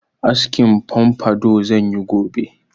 Askin pompadour zan yi gobe.